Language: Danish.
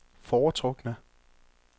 foretrukne